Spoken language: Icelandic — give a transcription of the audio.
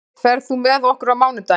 List, ferð þú með okkur á mánudaginn?